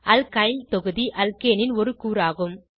alkyl தொகுதி அல்கேனின் ஒரு கூறாகும்